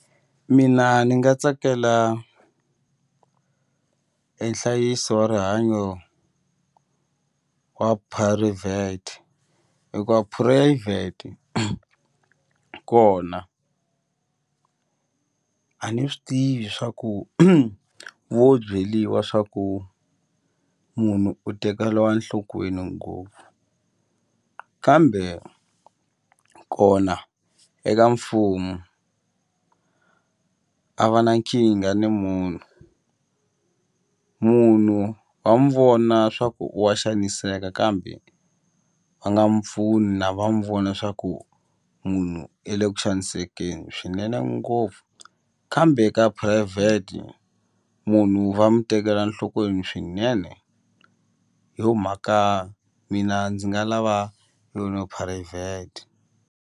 Mina ni nga tsakela e nhlayiso wa rihanyo wa hikuva phurayivhete kona a ni swi tivi swa ku vo byeliwa swa ku munhu u tekeliwa enhlokweni ngopfu kambe kona eka mfumo a va na nkingha ni munhu, munhu wa mu vona swa ku wa xaniseka kambe va nga mupfuni na va mu vona swa ku munhu i le ku xanisekeni swinene ngopfu kambe ka phurayivhete munhu va mu tekela enhlokweni swinene hi yo mhaka mina ndzi nga lava phurayivhete.